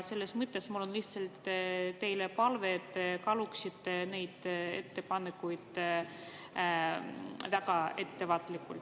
Selles mõttes on mul lihtsalt teile palve, et te kaaluksite neid ettepanekuid väga.